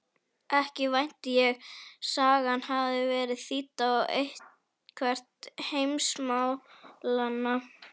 Ekki vænti ég sagan hafi verið þýdd á eitthvert heimsmálanna?